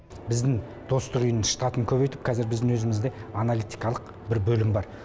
біздің достық үйінің штатын көбейтіп қазір біздің өзімізде аналитикалық бір бөлім бар